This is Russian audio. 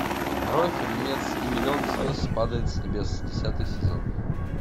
нарой фильмец и миллион звезд падает с небес десятый сезон